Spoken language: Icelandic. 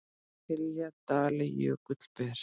hylji dali jökull ber